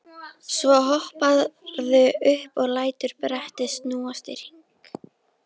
Svo hopparðu upp og lætur brettið snúast í hring.